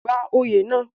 gba oyè náà